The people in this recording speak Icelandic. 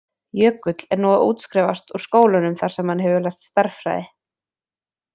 Jökull er nú að útskrifast úr skólanum þar sem hann hefur lært stærðfræði.